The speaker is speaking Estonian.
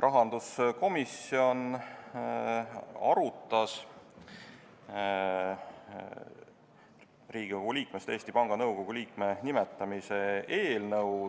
Rahanduskomisjon arutas otsuse "Riigikogu liikmest Eesti Panga Nõukogu liikme nimetamine" eelnõu